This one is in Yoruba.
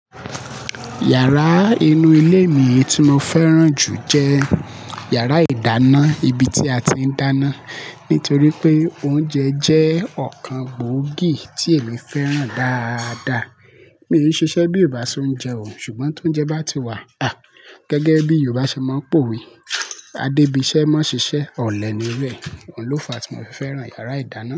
Yàrá inú ilé mi tí mo fẹ́ràn jù jẹ́ yàrá ìdáná, ibi tí a ti ń dáná. Nítorí pé oúnjẹ jẹ́ ọ̀kan gbòógì tí èmi fẹ́ràn dáadáa. Mi ò ní ṣiṣẹ́ bí Ìbà ṣ'ọ́únjẹ o, ṣùgbọ́n t'óúnjẹ bá ti wà, à! Gẹ́gẹ́ bí Yorùbá ṣe máa ń p'owe, "Adébiṣẹ́ máa ṣiṣẹ́, ọ̀lẹ ni iru e." Oun ló fa tí mo fi fẹ́ràn yàrá ìdáná.